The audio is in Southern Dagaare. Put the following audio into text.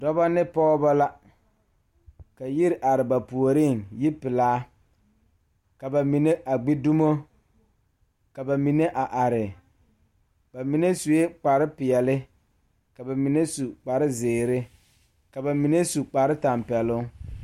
Pɔgeba ne dɔɔba la ka a yiri are dɔɔ kaŋa a are a su kpare pelaa kaa Yiri a die dankyini are kaa kolbaare a dɔgle tabol zu.